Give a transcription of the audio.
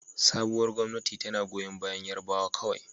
Sabuwar gwamnati tana goyon bayan Yarbawa kawai